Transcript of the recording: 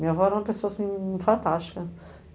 Minha avó era uma pessoa, assim, fantástica.